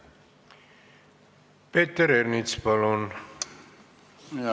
Peeter Ernits, palun!